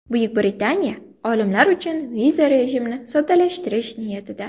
Buyuk Britaniya olimlar uchun viza rejimini soddalashtirish niyatida.